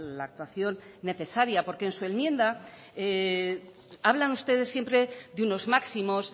la actuación necesaria porque en su enmienda hablan ustedes siempre de unos máximos